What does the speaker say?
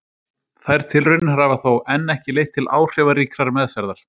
Þær tilraunir hafa þó enn ekki leitt til áhrifaríkrar meðferðar.